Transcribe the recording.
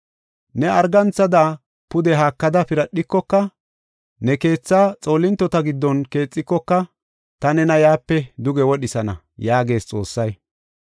Ne arganthada pude haakada piradhikoka, ne keethaa xoolintota giddon keexikoka, ta nena yaape duge wodhisana” yaagees Xoossay.